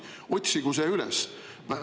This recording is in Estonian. Otsigu see üles!